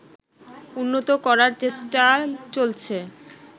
উন্নত করার চেষ্টা চলছে